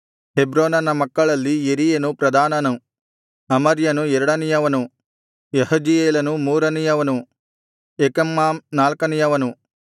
ಹೆಬ್ರೋನನ ಮಕ್ಕಳಲ್ಲಿ ಯೆರೀಯನು ಪ್ರಧಾನನು ಅಮರ್ಯನು ಎರಡನೆಯವನು ಯಹಜೀಯೇಲನು ಮೂರನೆಯವನು ಯೆಕಮ್ಮಾಮ್ ನಾಲ್ಕನೆಯವನು